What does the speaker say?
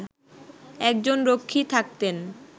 একজন রক্ষী থাকতেন